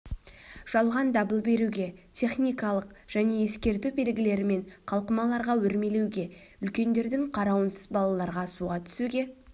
жалған дабыл беруге техникалық және ескерту белгілері мен қалқымаларға өрмелеуге үлкендердің қарауынсыз балаларға суға түсуге